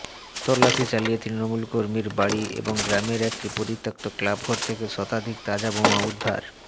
তল্লাশি চালিয়ে তৃণমূল কর্মীর বাড়ি এবং গ্রামের একটি পরিত্যক্ত ক্লাবঘর থেকে শতাধিক তাজা বোমা উদ্ধার